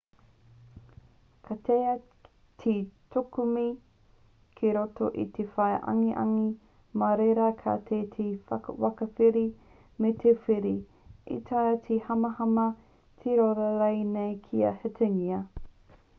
ka taea te kukume ki roto i te waea angiangi mā reira ka taea te takawiri me te whiri e taea te hamahama te rōra rānei kia hītingia